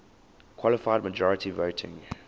qualified majority voting